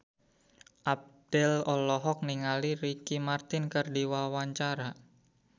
Abdel olohok ningali Ricky Martin keur diwawancara